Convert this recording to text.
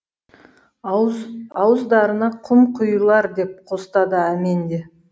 ауыздарына құм құйылар деп қостады әмен де